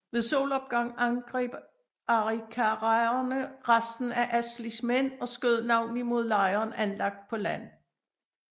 Ved solopgang angreb arikaraerne resten af Ashleys mænd og skød navnlig mod lejren anlagt på land